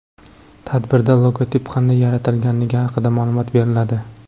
Tadbirda logotip qanday yaratilganligi haqida ma’lumot beriladi.